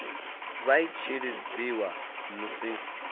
vha i tshi lidziwa musi